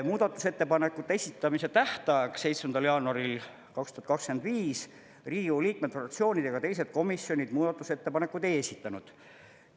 Muudatusettepanekute esitamise tähtajaks 7. jaanuaril 2025 Riigikogu liikmed, fraktsioonid ega teised komisjonid muudatusettepanekuid ei esitanud.